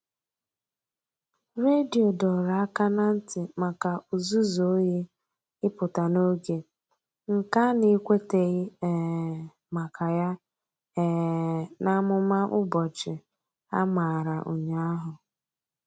Redio dọrọ aka ná ntị maka ụzụzụ oyi ịpụta n'oge, nke a na-ekwuteghi um maka ya um n'amụma ụbọchị a mara ụnyaahụ.